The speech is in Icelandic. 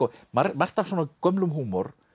margt af svona gömlum húmor